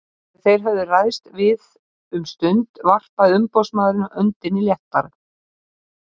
Þegar þeir höfðu ræðst við um stund varpaði umboðsmaðurinn öndinni léttar.